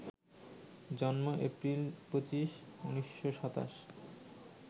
জন্ম এপ্রিল ২৫, ১৯২৭